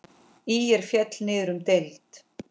ÍR féll niður um deild.